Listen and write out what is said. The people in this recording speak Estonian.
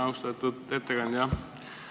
Austatud ettekandja!